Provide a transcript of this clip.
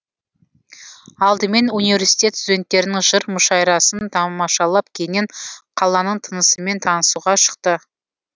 алдымен университет студенттерінің жыр мүшайрасын тамашалап кейіннен қаланың тынысымен танысуға шықты